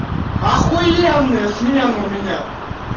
охуенные смены у меня